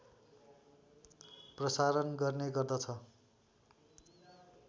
प्रसारण गर्ने गर्दछ